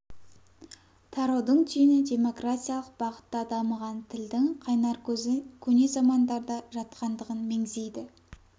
тараудың түйіні демократиялық бағытта дамыған тілдің қайнар көзі көне замандарда жатқандығын меңзейді